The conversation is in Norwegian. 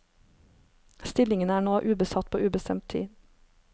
Stillingene er nå ubesatt på ubestemt tid.